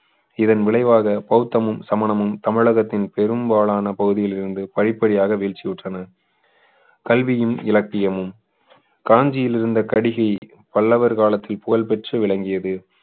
இதன் விளைவாக பௌத்தமும் சமணமும் தமிழகத்தின் பெரும்பாலான பகுதிகளிலிருந்து படிப்படியாக வீழ்ச்சியுற்றன கல்வியும் இலக்கியமும் காஞ்சியில் இருந்த கடிகை பல்லவர் காலத்தின் புகழ்பெற்று விளங்கியது